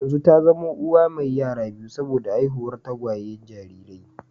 Yanzu ta zama uwa mai yara biyu saboda haihuwar tagwayen jarirai